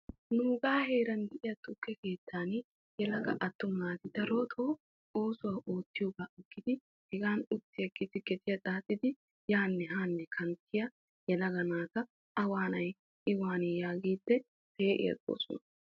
nuugaa heeran diya tukke keettan attumma naati darotoo oossuwa oottiyoogaa agidi hegan uttiigidi gediya xaaxxidi yanne haanne kanttiya yelaga naata a waanay i waanii yaagiidi pee'i agoosona.